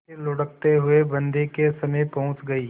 फिर लुढ़कते हुए बन्दी के समीप पहुंच गई